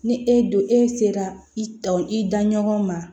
Ni e don e sera i ta i da ɲɔgɔn ma